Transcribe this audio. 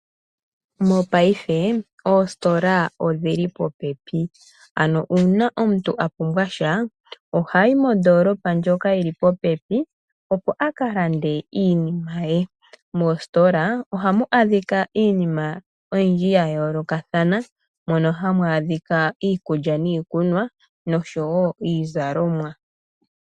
Mopaife oositola odhili popepi nuuna omuntu apumbwa sha ohayi moondolopa ndjoka yili popepi opo akalande iinima ye. Moositola ohamu adhika iinima oyindji yayolokathana mono hamu adhika iikulya niikunwa nosho woo iizalomwa.